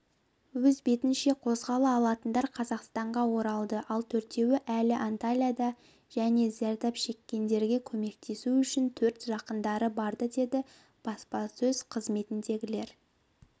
өз бетінше қозғала алатындар қазақстанға оралды ал төртеуі әлі антальяда жәнезардап шеккендергекөмектесу үшін төрт жақындары барды деді баспасөз қызметіндегілер